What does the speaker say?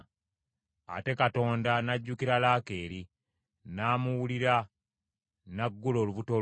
Ate Katonda n’ajjukira Laakeeri, n’amuwulira n’aggula olubuto lwe.